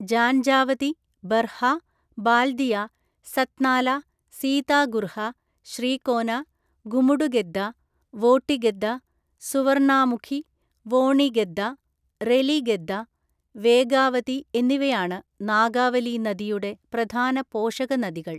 ജാൻജാവതി, ബർഹ, ബാൽദിയ, സത്നാല, സീതാഗുർഹ, ശ്രീകോന, ഗുമുഡുഗെദ്ദ, വോട്ടിഗെദ്ദ, സുവർണാമുഖി, വോണിഗെദ്ദ, റെലിഗെദ്ദ, വേഗാവതി എന്നിവയാണ് നാഗാവലി നദിയുടെ പ്രധാന പോഷകനദികള്‍.